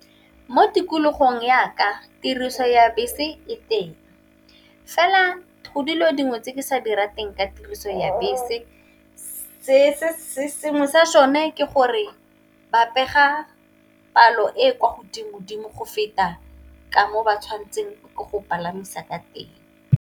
Mo tikologong yaka tiriso ya bese e teng, fela go dilo dingwe tse ke sa di rateng ka tiriso ya bese se se sengwe sa sone ke gore ba pega palo e e kwa godimo dimo go feta ka mo ba tshwanetseng ke go palamisa ka teng.